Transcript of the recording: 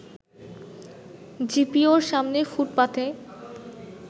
জিপিওর সামনের ফুটপাথে